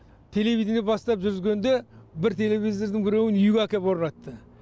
телевидение бастап жүзгенде бір телевизордың біреуін үйге әкеп орнатты